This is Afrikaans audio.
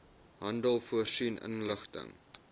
handel voorsien inligting